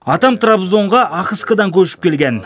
атам трабзонға ахыскадан көшіп келген